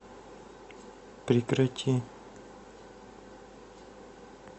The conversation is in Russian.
прекрати